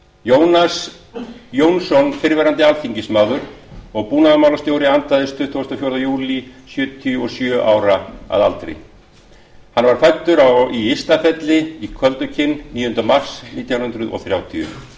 jónas jónsson fyrrverandi alþingismaður og búnaðarmálastjóri andaðist tuttugasta og fjórða júlí sjötíu og sjö ára að aldri hann var fæddur í ystafelli í köldukinn níunda mars nítján hundruð þrjátíu